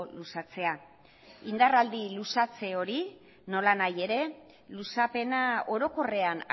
luzatzea indarraldi luzatze hori nolanahi ere luzapena orokorrean